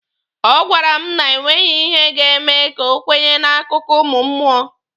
Ọ gwara m na e nweghị ihe ga-eme ka o kwenye n'akụkọ ụmụ mmụọ.